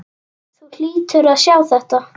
Þú hlýtur að sjá þetta.